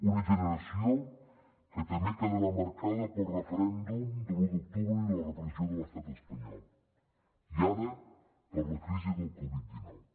una generació que també quedarà marcada pel referèndum de l’u d’octubre i la repressió de l’estat espanyol i ara per la crisi del covid dinou